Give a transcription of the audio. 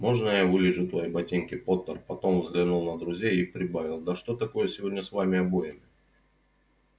можно я вылижу твои ботинки поттер потом взглянул на друзей и прибавил да что такое сегодня с вами обоими